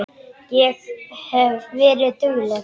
Ég hef verið dugleg.